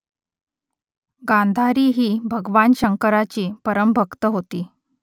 गांधारी ही भगवान शंकराची परमभक्त होती